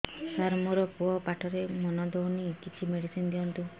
ସାର ମୋର ପୁଅ ପାଠରେ ମନ ଦଉନି କିଛି ମେଡିସିନ ଦିଅନ୍ତୁ